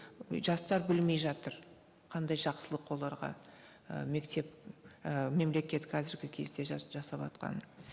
жастар білмей жатыр қандай жақсылық оларға і мектеп і мемлекет қазіргі кезде жасаватқанын